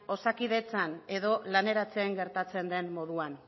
osakidetzan edo laneratzean gertatzen den moduan